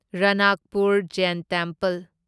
Ranakpur Jain temple